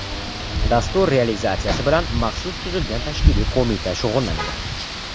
Dastur realizatsiyasi bilan maxsus tuzilgan tashkiliy qo‘mita shug‘ullanadi.